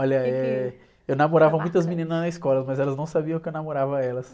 Olha, eh, eu namorava muitas meninas na escola, mas elas não sabiam que eu namorava elas.